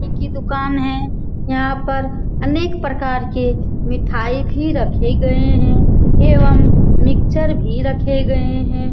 की दुकान है यहाँ पर अनेक प्रकार के मिठाई भी रखे गए हैं एवं मिक्चर भी रखे गए हैं।